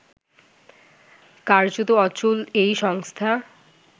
কার্যত অচল এই সংস্থা